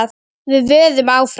Við vöðum áfram.